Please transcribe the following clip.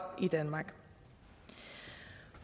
i danmark